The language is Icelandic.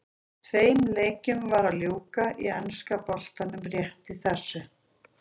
Tveim leikjum var að ljúka í enska boltanum rétt í þessu.